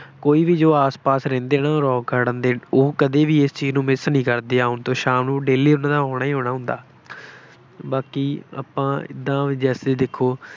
ਕੋਈ ਵੀ ਜੋ ਆਸ ਪਾਸ ਰਹਿੰਦੇ ਹੈ ਨਾ ਉਹ ਰੌਕ ਗਾਰਡਨ ਦੇ ਉਹ ਕਦੇ ਵੀ ਇਸ ਚੀਜ਼ ਨੂੰ miss ਨਹੀਂ ਕਰਦੇ, ਆਉਣ ਤੋਂ, ਸ਼ਾਮ ਨੂੰ daily ਉਹਨਾ ਨੇ ਆਉਣਾ ਹੀ ਆਉਣਾ ਹੁੰਦਾ ਬਾਕੀ ਆਪਾਂ ਏਦਾਂ ਬਈ ਜੇਸੈ ਦੇਖੋ